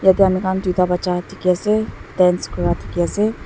etya ami khan duida bacha dekhe ase dance kura dekhe ase.